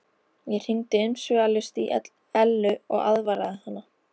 Ég hringdi umsvifalaust í Ellu og aðvaraði hana.